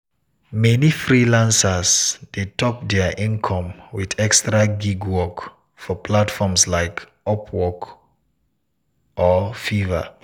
meni freelancers dey top dia income with extra gig work for platforms like upwork or fiverr.